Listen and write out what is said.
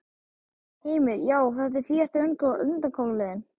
Heimir: Já, og þetta er síðasta undankomuleiðin?